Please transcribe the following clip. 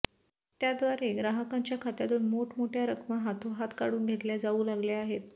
त्याद्वारे ग्राहकांच्या खात्यातून मोठमोठ्या रकमा हातोहात काढून घेतल्या जाऊ लागल्या आहेत